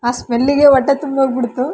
ಆ ಸ್ಮೆಲ್ ಗೆ ಹೊಟ್ಟೆ ತುಂಬೋಗ್ ಬಿಡ್ತು.